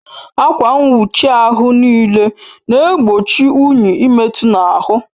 Akwa nwuchi ahụ n'ile na egbochi unyi ị metu n'ahụ